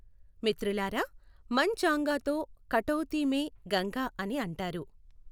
మిత్రులారా, మన్ చంగాతో కఠౌతీ మే గంగా అని అంటారు.